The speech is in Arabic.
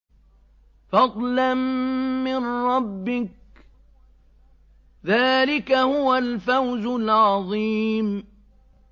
فَضْلًا مِّن رَّبِّكَ ۚ ذَٰلِكَ هُوَ الْفَوْزُ الْعَظِيمُ